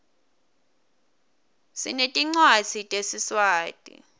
sinetincwadzi tesiswati